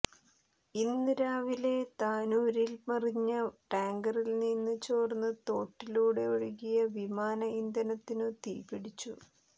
ഇന്ന് രാവിലെ താനൂരിൽ മറിഞ്ഞ ടാങ്കറിൽനിന്ന് ചോർന്ന് തോട്ടിലൂടെ ഒഴുകിയ വിമാന ഇന്ധനത്തിനു തീപിടിച്ചു